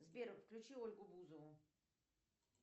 сбер включи ольгу бузову